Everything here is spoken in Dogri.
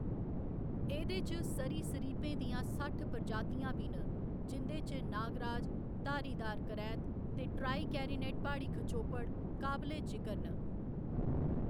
एह्‌‌‌दे च सरीसृपें दियां सट्ठ प्रजातियां बी न, जिं'दे च नागराज, धारीदार करैत ते ट्राईकैरिनेट प्हाड़ी खचोपड़ काबले जिकर न।